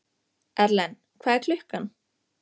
Erlen, hvað er klukkan?